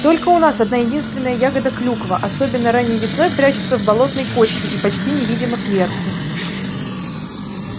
только у нас одна-единственная ягода клюква особенно ранней весной прячется в болотной кочке и почти невидима сверху